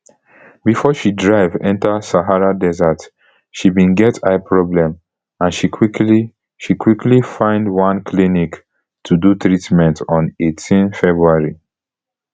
before she drive enta sahara desert she bin get eye problem and she quickly she quickly find one clinic to do treatment on eighteen february